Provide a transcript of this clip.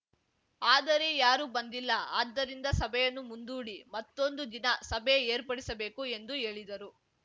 ಆದರೆ ಯಾರೂ ಬಂದಿಲ್ಲ ಆದ್ದರಿಂದ ಸಭೆಯನ್ನು ಮುಂದೂಡಿ ಮತ್ತೊಂದು ದಿನ ಸಭೆ ಏರ್ಪಡಿಸಬೇಕು ಎಂದು ಹೇಳಿದರು